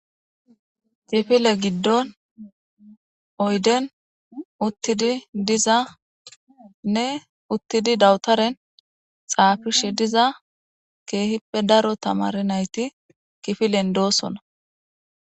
kifile giddon oyden uttidi dizanne uttidi dawutaren xaafishe diza keehippe daro tamare nayti kifilen doosona